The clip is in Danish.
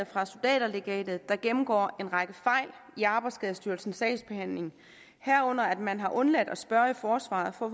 fra soldaterlegatet der gennemgår en række fejl i arbejdsskadestyrelsens sagsbehandling herunder at man har undladt at spørge i forsvaret for at